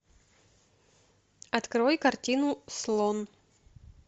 открой картину слон